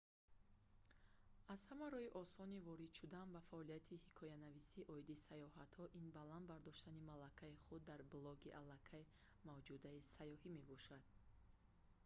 аз ҳама роҳи осони ворид шудан ба фаъолияти ҳикоянависӣ оиди сайёҳатҳо ин баланд бардоштани малакаи худ дар блоги алакай мавҷудаи сайёҳӣ мебошад